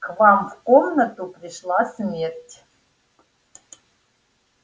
к вам в комнату пришла смерть